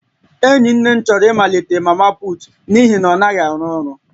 Enyi nne m chọrọ ịmalite mama na-etinye ego n'ihi na ọ naghị arụ ọrụ